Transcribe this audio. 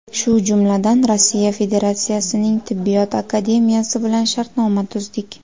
Shu jumladan, Rossiya Federatsiyasining Tibbiyot akademiyasi bilan shartnoma tuzdik.